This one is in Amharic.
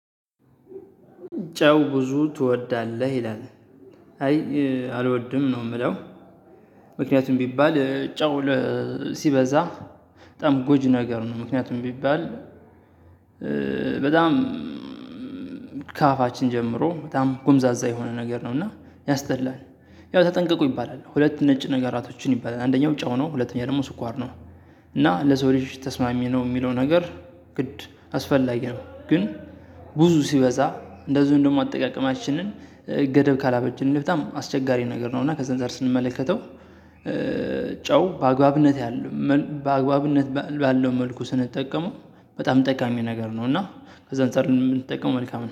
ጨው ብዙ ትወዳለህ ይላል? አይ አልወድም ነው ምለው። ምክንያቱም ቢባል ጨው ሲበዛ በጣም ጎጂ ነገር ነው። ምክንያቱም ቢባል በጣም ከአፋችን ጀምሮ በጣም ጎምዛዛ የሆነ ነገር ነው። እና ያስጠላል። ያው ተጠንቀቁ ይባላል ሁለት ነጭ ነገራቶችን ይባላል አንደኛው ጨው ነው ሁለተኛው ደግሞ ስኳር ነው። እና ለሰው ልጅ ተስማሚ ነው ሚለው ነገር ግድ አስፈላጊ ነው። ግን ብዙ ሲበዛ እንደዚውም ደሞ አጠቃቀማችንን ገደብ ካላበጅን በጣም አስቸጋሪ ነገር ነው። እና ከዛ አንፃር ስንመለከተው ጨው በአግባብነት ያለው በአግባብነት ባለው መልኩ ስንጠቀመው በጣም ጠቃሚ ነገር ነው። እና ከዛ አንፃር ብንጠቀመው መልካም ነው